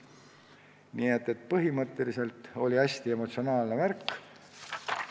Nii et põhimõtteliselt oli hästi emotsionaalne värk.